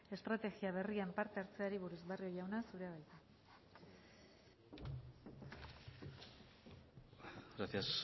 estrategia berrian parte hartzeari buruz barrio jauna zurea da hitza gracias señora